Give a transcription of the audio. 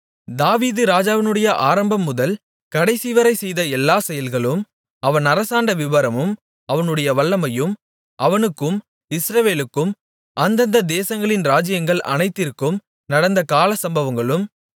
தாவீது ராஜாவினுடைய ஆரம்பம்முதல் கடைசிவரை செய்த எல்லா செயல்களும் அவன் அரசாண்ட விபரமும் அவனுடைய வல்லமையும் அவனுக்கும் இஸ்ரவேலுக்கும் அந்தந்த தேசங்களின் ராஜ்ஜியங்கள் அனைத்திற்கும் நடந்த காலசம்பவங்களும்